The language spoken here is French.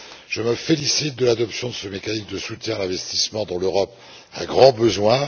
Je me félicite de l'adoption de ce mécanisme de soutien à l'investissement dont l'Europe a grand besoin.